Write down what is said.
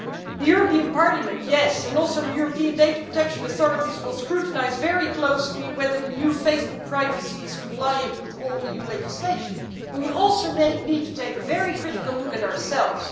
The European Parliament, yes, and also the European Data Protection authorities will scrutinise very closely whether the new Facebook privacy arrangements are compliant with all EU legislation, but we also need to take a very critical look at ourselves.